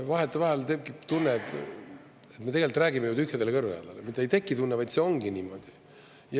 Vahetevahel tekib tunne, et me tegelikult räägime tühjadele kõrvadele, ja mitte ei teki tunne, vaid see ongi niimoodi.